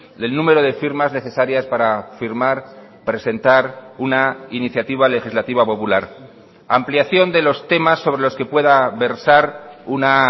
del número de firmas necesarias para firmar presentar una iniciativa legislativa popular ampliación de los temas sobre los que pueda versar una